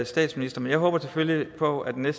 statsminister men jeg håber selvfølgelig på at den